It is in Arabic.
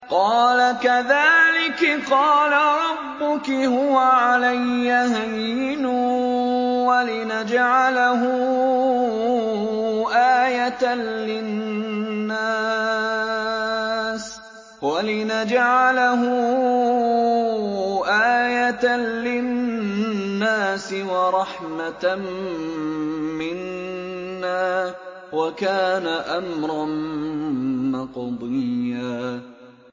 قَالَ كَذَٰلِكِ قَالَ رَبُّكِ هُوَ عَلَيَّ هَيِّنٌ ۖ وَلِنَجْعَلَهُ آيَةً لِّلنَّاسِ وَرَحْمَةً مِّنَّا ۚ وَكَانَ أَمْرًا مَّقْضِيًّا